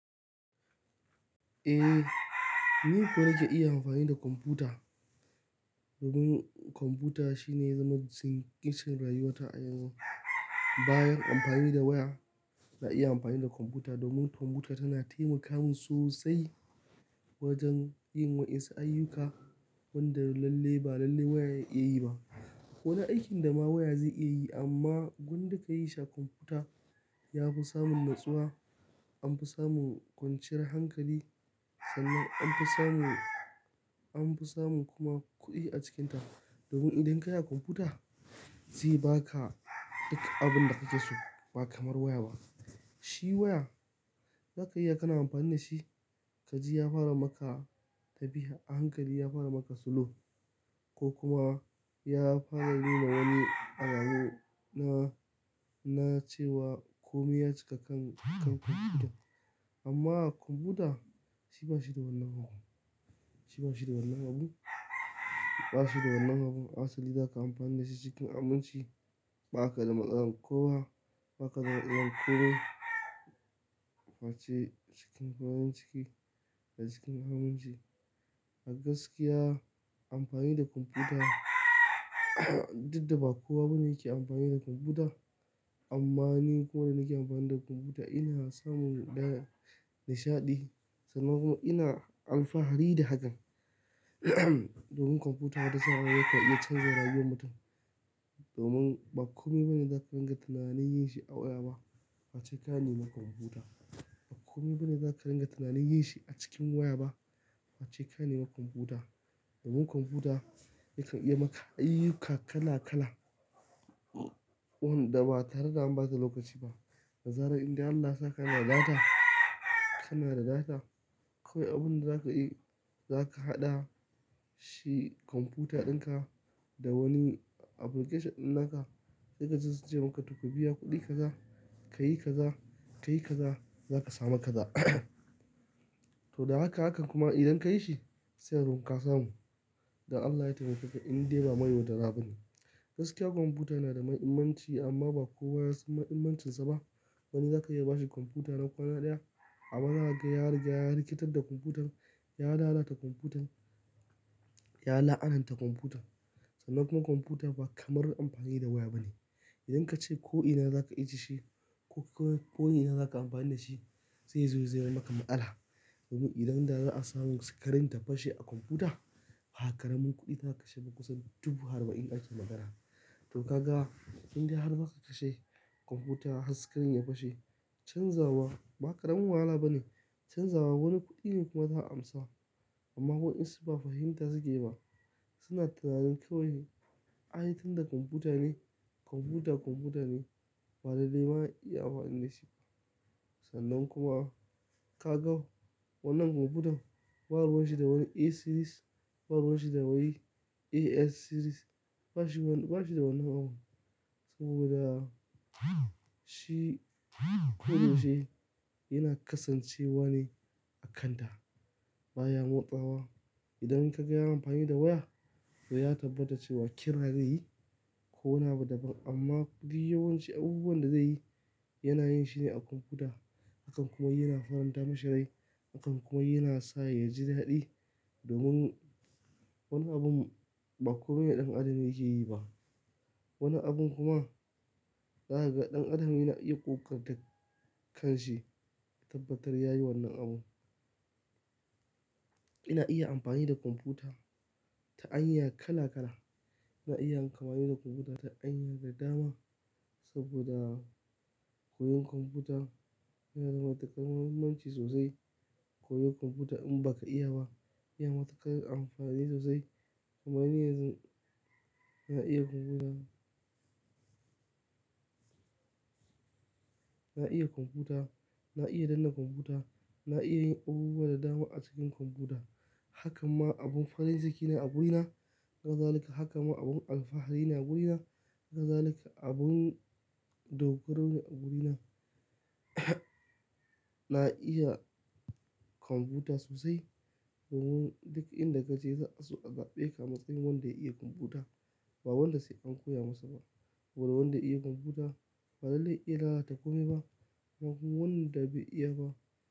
Eh, ni kuwa nake iya amfani da kwamfuta. Domin kwamfuta shine ya zama ke cikin rayuwata a yanzu. Bayan amfani da waya, na iya amfani da kwamfuta domin kwamfuta tana taimaka mun sosai wajen yin waƴansu ayyuka wanda lalle ba lalle waya ya iya yi ba. Ko wani aikin da ma waya zai iya yi amma gwnda ka yi shi kwamfuta ya fi samun natsuwa, an fi samun kwanciyar hankali. Sannan an fi samun, an fi samun kuma kuɗi a cikinta. Domin idan ka yi kwamfuta zai ba ka duk abin da kake so ba kamar waya ba. Shi waya, zaka iya kana amfani da shi, kaji ya fara maka tafiya, a hankali ya fara maka slow ko kuma ya fara nuna wani alamu na, na cewa komi ya cika kan, kan kwamfuta. Amma kwamfuta shi ba shi da wannan abun, shi ba shi da wannan abun, ba shi da wannan abun. Asali zaka amfani da shi cikin aminci, ba ka kada matslan kowa, ba ka kada matsalan komi face cikin farin ciki da cikin aminci. A gaskiya amfani da kwamfuta duk da ba kowa bane yake amfani da kwamfuta amma ni kuma da nake amfani da kwamfuta ina samun ɗa nishaɗi. Sannan kuma ina alfahari da hakan. Domin kwamfuta wata sa'an yakan iya canza rayuwar mutum. Domin ba kome bane zaka ringa tunanin yin shi a waya ba face ka nemi kwamfuta. Ba kome bane zaka ringa tunanin yin shi a cikin waya ba face ka nema kwamfuta. Domin kwamfuta yakan iya maka ayyuka kala kala wanda ba tare da an ɓata lokaci ba. Da zarar in dai Allah yasa ka na da data, ka na da data, kawai abun da zaka yi, za ka haɗa shi kwamfuta ɗinka da wani application ɗin naka. Sai ka ji su ce maka to ka biya kuɗi kaza, ka yi kaza, ka yi kaza, za ka samu kaza. To da haka hakan kuma idan ka yi shi sai kagan ka samu. Da Allah ya taimakeka in dai ba ma yaudara ba ne. Gaskiya kwamfuta yana da mahimmanci amma ba kowa ya san mahimmancinsa ba. Wani zaka iya ba shi kwamfuta na kwana ɗaya amma zaka ga ya riga ya rikitar da kwamfutan, ya lalata kwamfutan, ya la'ananta kwamfutan. Sannan kuma kwamfuta ba kamar amfani da waya bane. Idan kace ko ina za ka ije shi ko ko ina za ka amfani da shi zai zo zaman maka matsala. Domin idan da za a samu screen ta fashe a kwamfuta, ha karamin kuɗi za ka kashe ba kusan dubu arba'in ake magana. To ka ga in dai har ba ka kashe kwamfuta har screen ya fashe canzawa ba karamin wahala bane. Canzawa wani kuɗi kuma za a amsa. Amma waƴansu ba fahimta suke ba suna tunanin kawai ai tun da kwamfuta ne. Kwamfuta kwamfuta ne ba lalle ma iya amfani da shi. Sannan kuma ka ga wannan kwamfutan ba ruwan shi da wani E series, ba ruwan shi da wani ES series, ba shi wani, ba shi da wannan abun. Saboda shi ko da yaushe yana kasancewa ne a kanta baya motsawa. Idan ka ga amfani da waya to ya tabbata cewa kira zai yi ko wani abu daban amma duk yawanci abubuwan da zai yi yana yin shi ne a kwamfuta. Hakan kuma yana faranta mishi rai. Hakan kuma yana sa ya ji daɗi. Domin wani abun ba komai da ɗan adam yake yi ba. Wani abun kuma za ka ga ɗan adam yana iya ƙoƙarta kanshi ya tabbatar ya yi wannan abun. Ina iya amfani da kwamfuta ta hanya kala kala. Ina iya amfani da kwamfuta ta hanya da dama saboda koyon kwamfuta yana da matukar mahimmanci sosai. Koyon kwamfuta in ba ka iya ba, ya matuƙar amfani sosai. Kamani yanzu ina iya kwamfuta. Na iya kwamfuta, na iya danne kwamfuta, na iya yin abubuwa da dama a cikin kwamfuta. Hakan ma abun farin ciki ne a gurina. Haka zalika, hakan ma abin alfahari ne a gurina. Haka zalika abun dogaro ne a gurina. Na iya kwamfuta sosai domin duka inda kaje za'a so a zaɓe ka matsayin wanda ya iya kwamfuta. Ba wanda sai an koya masa ba. Saboda wanda ya iya kwamfuta ba lalle ya iya lalata komai ba. Haka kuma wanda bai iya ba.